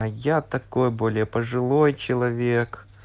а я такой более пожилой человек